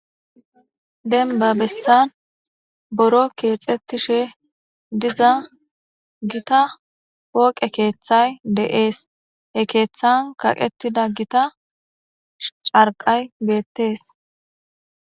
Denbba bessan boro keexettishe diza gita poqe keeththay deees. he keeththan kaqettida gita carqay beettees.